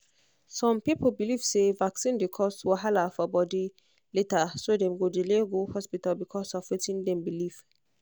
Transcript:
some believe say vaccine dey cause wahala for body later so dem go delay go hospital because of wetin dem believe